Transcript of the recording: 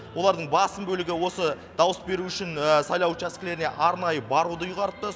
олардың басым бөлігі осы дауыс беру үшін сайлау учаскелеріне арнайы баруды ұйғарыпты